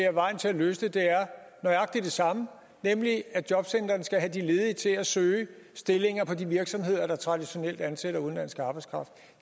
at vejen til at løse det er nøjagtig det samme nemlig at jobcentrene skal have de ledige til at søge stillinger i de virksomheder der traditionelt ansætter udenlandsk arbejdskraft